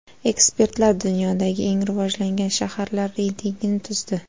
Ekspertlar dunyodagi eng rivojlangan shaharlar reytingini tuzdi.